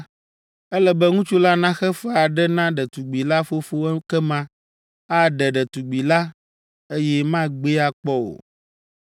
ele be ŋutsu la naxe fe aɖe na ɖetugbi la fofo ekema aɖe ɖetugbi la, eye magbee akpɔ o.